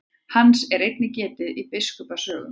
Hans er einnig getið í biskupa sögum.